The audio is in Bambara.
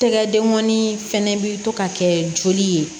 Tɛgɛ dengɔnni fɛnɛ bi to ka kɛ joli ye